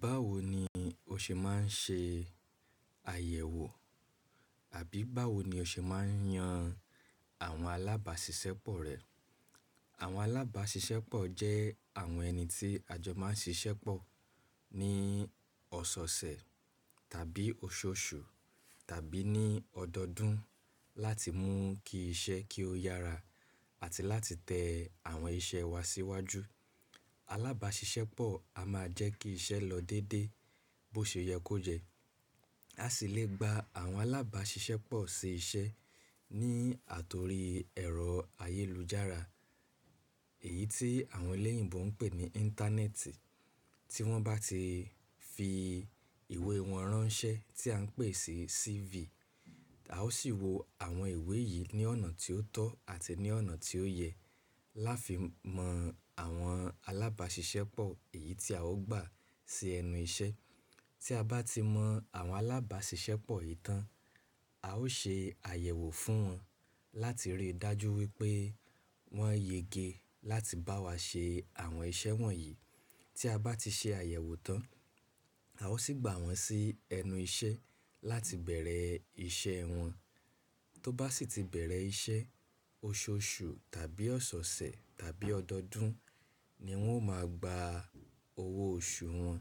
Báwo ni o ṣe máa ń ṣe àyẹ̀wò àbí báwo ni o ṣe máa ń yan àwọn alábàáṣiṣẹ́pọ̀ rẹ? Àwọn alábàáṣiṣẹ́pọ̀ jẹ́ àwọn ẹni tí àjọ máa ń ṣiṣẹ́pọ̀ ní ọ̀soosẹ̀ tàbí oṣooṣù tàbí ní ọdọọdún láti mú kí iṣẹ́ kí ó yára àti láti tẹ àwọn iṣẹ́ wa síwájú. Alábàáṣiṣẹ́pọ̀ a máa jẹ́ kí iṣẹ́ lọ dédé bó ṣe yẹ kó jẹ́. A sì lè gba àwọn alábàáṣiṣẹ́pọ̀ ṣi iṣẹ́ ní àtorí ẹ̀rọ ayélujára, èyí tí àwọn eléyìíbo ń pè ní íńtánẹ́ẹ̀tì. Tí wọ́n bá ti fi ìwé wọn ránṣẹ́ tí à ń pè sí CV, a ó sì wo àwọn ìwé yìí ní ọ̀nà tí ó tọ́ àti ní ọ̀nà tí ó yẹ láfi mọ àwọn alábàáṣiṣẹ́pọ̀ èyí tí a ó gbà sí ẹnu iṣẹ́. Tí a bá ti mọ àwọn alábàáṣiṣẹ́pọ̀ yìí tán, a ó ṣe àyẹ̀wò fún wọn láti rí i dájú wípé wọ́n yẹ gé láti bá wa ṣe àwọn iṣẹ́ wọ̀nyí. Tí a bá ti ṣe àyẹ̀wò tán, a ó sì gbà wọ́n sí ẹnu iṣẹ́ láti bẹ̀rẹ̀ iṣẹ́ wọn. Tó bá sì ti bẹ̀rẹ̀ iṣẹ́, oṣooṣù tàbí ọ̀sẹ̀ẹ̀sẹ̀ tàbí ọdọọdún ni wọ́n ó máa gba owó oṣù wọn.